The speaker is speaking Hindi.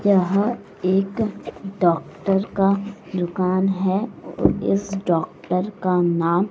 यह एक डॉक्टर का दुकान है इस डॉक्टर का नाम--